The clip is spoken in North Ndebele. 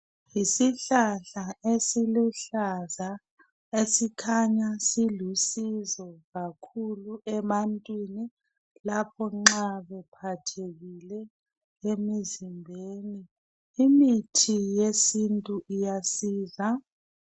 Yisihlahla esiluhlaza esikhanya silusizo kakhulu ebantwini lapho nxa bephathekile emizimbeni, imithi yesintu iyasiza.